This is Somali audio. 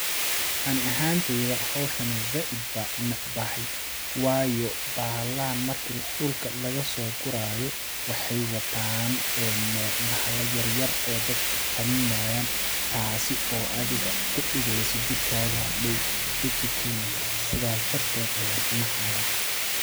Ani ahaan teyda howshani zaid baan unecbahay waayo bahalaha markii dhulka lagasoo guraayo waxeey wataan bahala yaryar oo dadka qaninayaan taasi oo adiga kudhageyso jirkaaga hadhoow dhib u keeni karto sidaas darteed ayaan unacayaa.